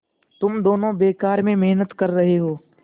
तुम दोनों बेकार में मेहनत कर रहे हो